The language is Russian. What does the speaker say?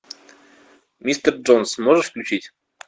мистер джонс можешь включить